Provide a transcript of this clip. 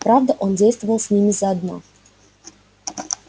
правда он действовал с ними заодно